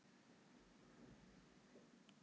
Hvenær verður bær að borg?